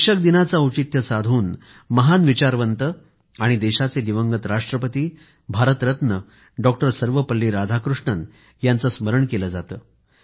शिक्षक दिनाचे औचित्य साधून महान विचारवंत आणि देशाचे माजी राष्ट्रपती भारतरत्न दिवंगत डॉक्टर सर्वपल्ली राधाकृष्णन जी यांचं स्मरण केलं जातं